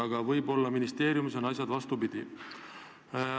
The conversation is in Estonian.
Aga võib-olla ministeeriumis on asjad vastupidi.